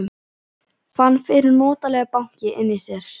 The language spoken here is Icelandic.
Fann fyrir notalegu banki inni í sér.